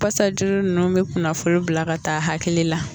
Pasa juru ninnu bɛ kunafoni bila ka taa hakili la.